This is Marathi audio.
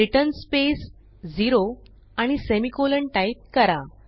रिटर्न स्पेस 0 आणि सेमिकोलॉन टाईप करा